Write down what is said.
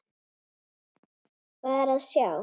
Hvað er að sjá